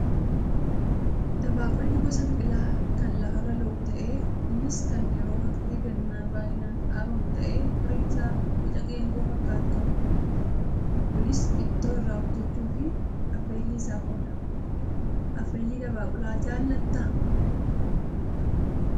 Dabaaqulli gosa biqilaa kan lafarra lo'u ta'ee innis kan yeroo waqtii gannaa baay'inaan dhaabamu ta'ee firiin isaa boca geengoo fakkaatu qaba. Kunis ittoo irraa hojjachuu fi affeellii isaaf oola. Affeellii dabaaqulaa jaallattaa?